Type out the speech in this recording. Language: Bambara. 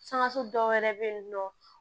Sankaso dɔw wɛrɛ bɛ yen nɔ